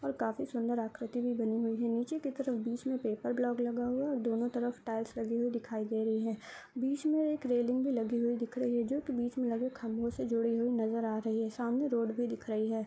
और काफी सुन्दर आकृति भी बनी हुयी है नीचे की तरफ बीच में पेपर ग्लाक लगा हुआ है दोनों तरफ टाइल्स लगी हुयी दिखाई दे रही है बीच में एक रेलिंग भी लगी हुयी दिख रही है जो की बीच में लगे खम्बो से जुड़े हुयी नजर आ रही है सामने रोड भी दिख रही है।